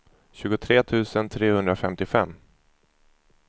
tjugotre tusen trehundrafemtiofem